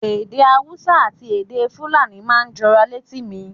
Èdè Hausa àti èdè Fulani máa ń jọra létí mi.